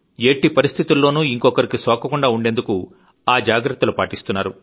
ఎట్టిపరిస్థితుల్లోనూ ఇంకొకరికి సోకకుండా ఉండేందుకు ఆజాగ్రత్తలు పాటిస్తున్నారు